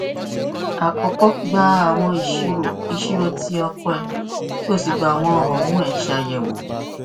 akọkọ gba awọn iṣiro iṣiro ti ọkọ rẹ ki o si gba awọn homonu rẹ ṣayẹwo